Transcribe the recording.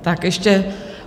Tak ještě...